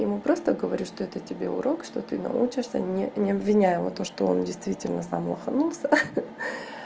я ему просто говорю что это тебе урок что ты научишься не не обвиняю его то что он действительно сам лоханулся